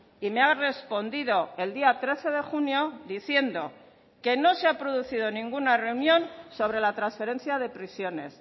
y me ha respondido el día trece de junio diciendo que no se ha producido ninguna reunión sobre la transferencia de prisiones